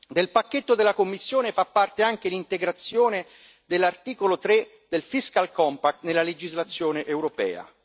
Del pacchetto della Commissione fa parte anche l'integrazione dell'articolo 3 del Fiscal Compact nella legislazione europea.